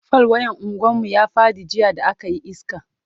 fal wayan unguwan mu ya Faɗi jiya da akayi iska